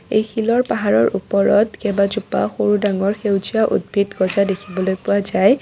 এই শিলৰ পাহাৰৰ ওপৰত কেইবাজোপাও সৰু ডাঙৰ সেউজীয়া উদ্ভিদ গজা দেখিবলৈ পোৱা যায়।